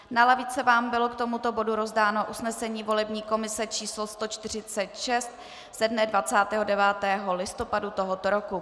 Na lavice vám bylo k tomuto bodu rozdáno usnesení volební komise č. 146 ze dne 29. listopadu tohoto roku.